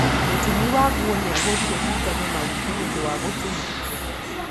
Mũtumi wa nguo nĩagũrire cindano na uthi nĩũndũ wa gũtuma